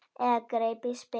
Eða greip í spil.